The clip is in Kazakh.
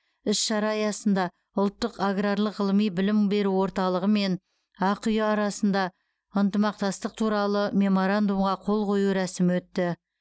іс шара аясында ұлттық аграрлық ғылыми білім беру орталығы мен ақиұ арасындағы ынтымақтастық туралы меморандумға қол қою рәсімі өтті